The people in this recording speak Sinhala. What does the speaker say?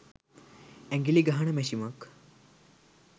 ඇඟිලි ගහන මැෂිමක්